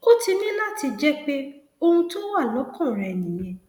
ó ti ní láti jẹ pé ohun tó wà lọkàn rẹ nìyẹn